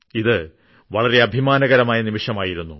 ഇത് വളരെ അഭിമാനകരമായ നിമിഷമായിരുന്നു